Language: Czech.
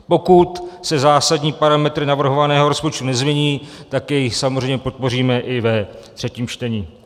Pokud se zásadní parametry navrhovaného rozpočtu nezmění, tak jej samozřejmě podpoříme i ve třetím čtení.